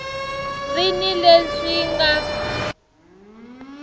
ri ni leswi swi nga